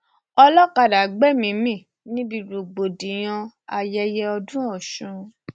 olọkadà gbẹmíín mi níbi rògbòdìyàn ayẹyẹ ọdún ọsùn